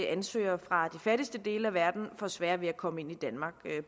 ansøgere fra de fattigste dele af verden får sværere ved at komme ind i danmark